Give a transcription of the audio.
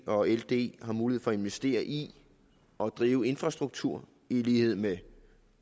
og ld har mulighed for at investere i og drive infrastruktur i lighed med